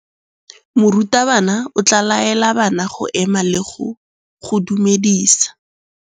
Morutabana o tla laela bana go ema le go go dumedisa.